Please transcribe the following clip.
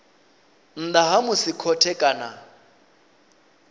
nnḓa ha musi khothe kana